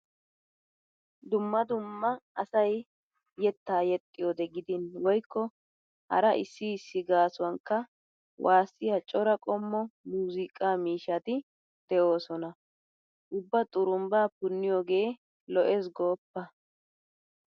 Dumma dumma asay yettaa yexxiyode gidin woykko hara issi issi gaasuwankka waassiya cora qommo muuziiqaa miishshati de'oosona. Ubba xurumbbaa punniyooge lo'es gooppa.